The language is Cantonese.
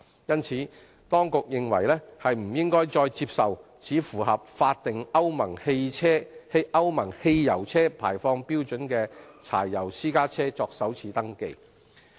因此，當局認為不應再接受只符合法定歐盟汽油車排放標準的柴油私家車作首次登記。